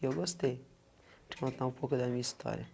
Eu gostei de contar um pouco da minha história.